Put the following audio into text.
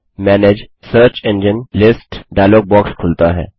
manage search engines list dialog box खुलता है